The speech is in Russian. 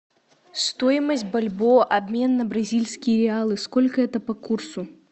стоимость бальбоа обмен на бразильские реалы сколько это по курсу